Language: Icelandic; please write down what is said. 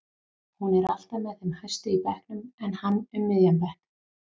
Hún er alltaf með þeim hæstu í bekknum en hann um miðjan bekk.